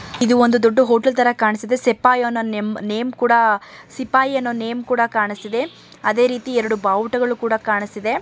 ಇದೊಂದು ದೊಡ್ಡ ಹೋಟೆಲ್ ತರ ಕಾಣಿಸ್ತಿದೆ ಸಿಪಾಯಿಯನ್ನು ನೇಮ್ ಕೂಡ ಸಿಪಾಯಿಯನ್ನು ನೇಮ್ ಕೂಡ ಕಾಣಿಸ್ತಿದೆ ಅದೇ ರೀತಿ ಎರಡು ಬಾವುಟಗಳು ಕೂಡ ಕಾಣಿಸ್ತಾ ಇದೆ.